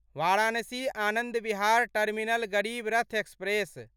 Varanasi Anand Vihar terminal Garib Rath express